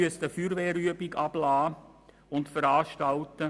Er müsste eine Feuerwehrübung veranstalten.